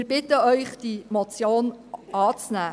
Wir bitten Sie, diese Motion anzunehmen.